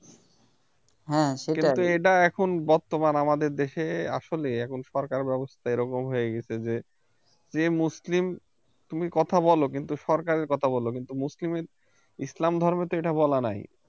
কিন্তু এটাই এখন বর্তমান আমাদের দেশে আসলে এখন সরকার ব্যবস্থা এরকম হয়ে গিয়েছে যে যে মুসলিম তুমি কথা বলো কিন্তু সরকারের কথা বল মুসলিমের ইসলাম ধর্মে তো এটা বলা নাই